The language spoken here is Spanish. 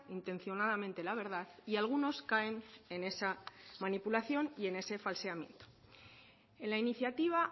intencionadamente la verdad y algunos caen en esa manipulación y en ese falseamiento en la iniciativa